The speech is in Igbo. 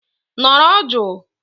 Nọrọ jụụ!!